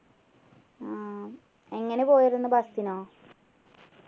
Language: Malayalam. ആഹ് എങ്ങനെ പോയിരുന്നു bus നോ